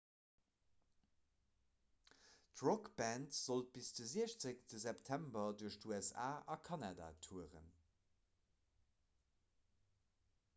d'rockband sollt bis de 16 september duerch d'usa a kanada touren